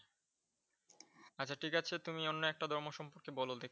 আচ্ছা ঠিক আছে তুমি অন্য একটা ধর্ম সম্পর্কে বল দেখি।